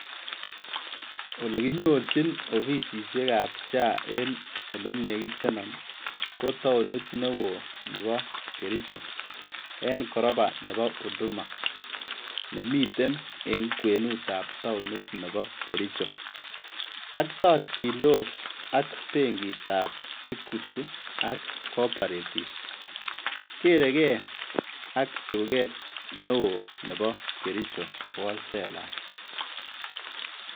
Ole kinyorjin ofisisiekab SHA en ole nekiteno ko toonit newo nebo Kericho en koroba nebo Huduma nemiten en kwenutab toonit nebo Kericho ak torjintos ak benkitab Equity ak Cooperative kerekee ak tuket neo nebo kericho wholesalers.